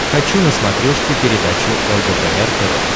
хочу на смотрешке передачу лдпр тв